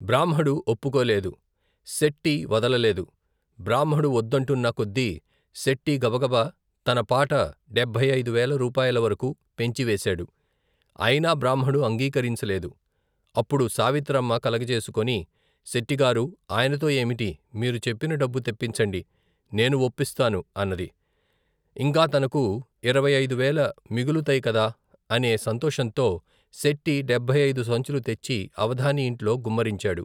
బ్రాహ్మడు ఒప్పుకోలేదు శెట్టి వదల లేదు బ్రాహ్మడు వొద్దంటున్నకొద్దీ శెట్టి గబగబా తనపాట డెభ్భైఐదువేల రూపాయల వరకూ పెంచివేశాడు అయినా బ్రాహ్మడు అంగీకరించ లేదు అప్పుడు సావిత్రమ్మ కలగజేసుకొని శెట్టిగారూ ఆయనతో ఏమిటి మీరు చెప్పిన డబ్బు తెప్పించండి నేను వొప్పిస్తాను అన్నది ఇంకా తనకు, యిరవై ఐదు వేల మిగులుతై కదా అనే సంతోషంతో శెట్టి డెభ్భై ఐదు సంచులూ తెచ్చి అవధాని ఇంట్లో గుమ్మరించాడు.